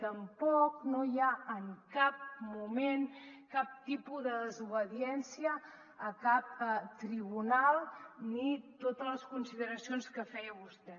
tampoc no hi ha en cap moment cap tipus de desobediència a cap tribunal ni totes les consideracions que feia vostè